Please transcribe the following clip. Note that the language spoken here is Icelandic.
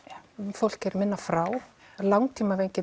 fólk er minna frá